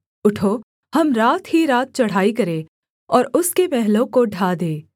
उठो हम रात ही रात चढ़ाई करें और उसके महलों को ढा दें